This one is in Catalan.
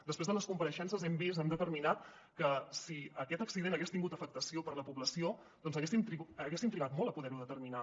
després de les compareixences hem vist hem determinat que si aquest accident hagués tingut afectació per a la població haguéssim trigat molt a poder ho determinar